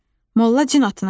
Molla cin atına mindi.